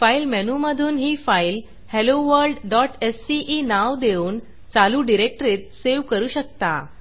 file मेनूमधून ही file helloworldसीई नाव देऊन चालू डिरेक्टरीत सेव्ह करू शकता